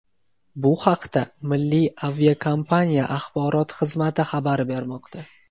Bu haqda milliy aviakompaniya axborot xizmati xabar bermoqda .